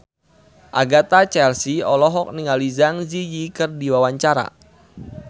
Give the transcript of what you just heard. Agatha Chelsea olohok ningali Zang Zi Yi keur diwawancara